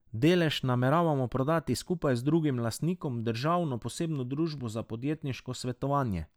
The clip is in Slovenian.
Delež nameravamo prodati skupaj z drugim lastnikom, državno Posebno družbo za podjetniško svetovanje.